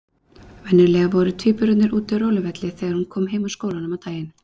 Venjulega voru tvíburarnir úti á róluvelli þegar hún kom heim úr skólanum á daginn.